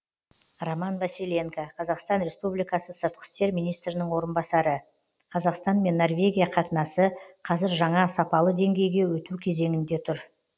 роман василенко қазақстан республикасы сыртқы істер министрінің орынбасары қазақстан мен норвегия қатынасы қазір жаңа сапалы деңгейге өту кезеңінде тұр